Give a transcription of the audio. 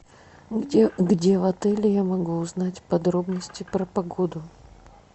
где в отеле я могу узнать подробности про погоду